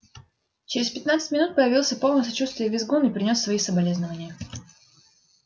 через пятнадцать минут появился полный сочувствия визгун и принёс свои соболезнования